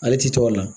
Ale tɛ to a la